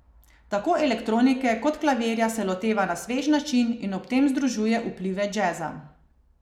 Tako elektronike kot klavirja se loteva na svež način in ob tem združuje vplive džeza.